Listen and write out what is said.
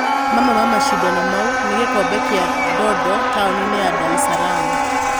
Mamwe wa macindano mau nĩ gĩkombe kĩa Ndondo taũninĩ ya Ndaresalaam.